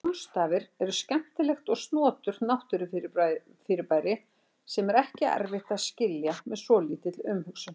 Sólstafir eru skemmtilegt og snoturt náttúrufyrirbæri sem er ekki erfitt að skilja með svolítilli umhugsun.